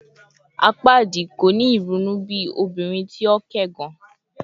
Apaadi ko ni irunu bi obinrin ti o kẹgàn